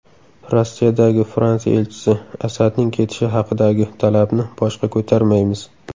Rossiyadagi Fransiya elchisi: Asadning ketishi haqidagi talabni boshqa ko‘tarmaymiz.